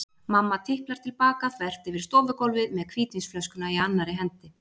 Mamma tiplar til baka þvert yfir stofugólfið með hvítvínsflöskuna í annarri hendi.